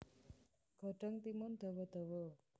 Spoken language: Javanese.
Godhong timun dawa dawa